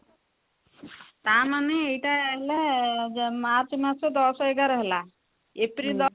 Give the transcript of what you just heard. ତା ମାନେ ଏଇଟା ହେଲା March ମାସ ଦଶ ଏଗାର ହେଲା April ଦଶ